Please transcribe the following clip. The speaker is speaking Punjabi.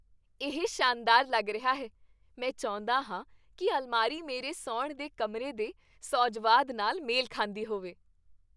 ਇਹ ਸ਼ਾਨਦਾਰ ਲੱਗ ਰਿਹਾ ਹੈ! ਮੈਂ ਚਾਹੁੰਦਾ ਹਾਂ ਕੀ ਅਲਮਾਰੀ ਮੇਰੇ ਸੌਣ ਦੇ ਕਮਰੇ ਦੇ ਸੁਹਜਵਾਦ ਨਾਲ ਮੇਲ ਖਾਂਦੀ ਹੋਵੇ।